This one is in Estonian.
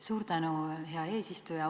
Suur tänu, hea eesistuja!